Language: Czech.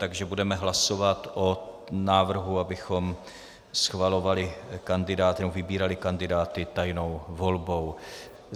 Takže budeme hlasovat o návrhu, abychom schvalovali kandidáty, nebo vybírali kandidáty, tajnou volbou.